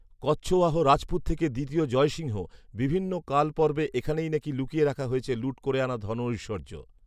কচ্ছওয়াহ রাজপুত থেকে দ্বিতীয় জয় সিংহ, বিভিন্ন কালপর্বে এখানেই নাকি লুকিয়ে রাখা হয়েছে লুঠ করে আনা ধন ঐশ্বর্য